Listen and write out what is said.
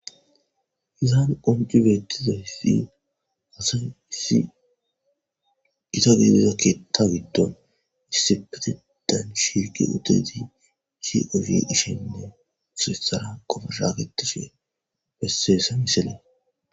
Izaan qoncci bettizayssi asa issi ita geelizakketa giddon issi petidan shirki utezi hiewi ishenne sirissara qofa shaaketishi besseesa miseley.